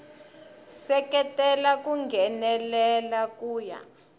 seketela ku nghenelela ku ya